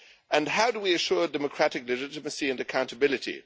And how do we assure democratic legitimacy and accountability?